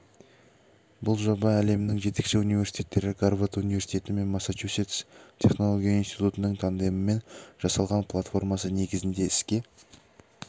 бұл жоба әлемнің жетекші университеттері гарвард университеті мен массачусетс технология институтының тандемімен жасалған платформасы негізінде іске